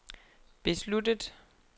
besluttet